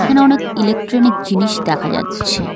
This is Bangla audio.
এখানে অনেক ইলেকট্রনিক জিনিস দেখা যাচ্ছে।